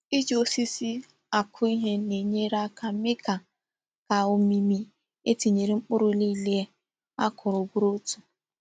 Ị ji osisi akụ ihe na-enyere aka mee ka ka òmìmí e tinyere mkpụrụ niile a kụrụ bụrụ otu.